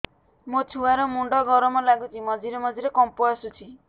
ମୋ ଛୁଆ ର ମୁଣ୍ଡ ଗରମ ଲାଗୁଚି ମଝିରେ ମଝିରେ କମ୍ପ ଆସୁଛି